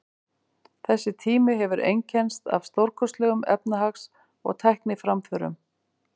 Þessi tími hefur einkennst af stórkostlegum efnahags- og tækniframförum.